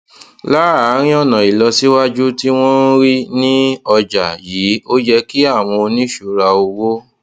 láàárín ọnà ìlọsíwájú tí wọn ń rí ní ọjà yìí ó yẹ kí àwọn oníṣura owó